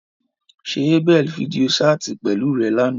Ṣe Abel fidio ṣaati pẹlu rẹ làná?